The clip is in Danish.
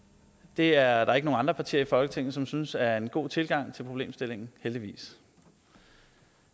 det er der ikke nogen andre partier i folketinget som synes er en god tilgang til problemstillingen heldigvis